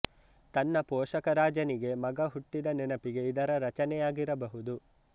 ತನ್ನ ಪೋಷಕ ರಾಜನಿಗೆ ಮಗ ಹುಟ್ಟಿದ ನೆನಪಿಗೆ ಇದರ ರಚನೆಯಾಗಿರಬಹುದು